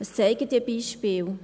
Was zeigen diese Beispiele?